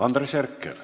Andres Herkel.